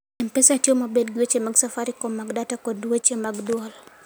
M-Pesa tiyo maber gi weche mag Safaricom mag data kod weche mag dwol.